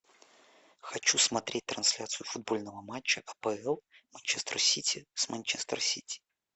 хочу смотреть трансляцию футбольного матча апл манчестер сити с манчестер сити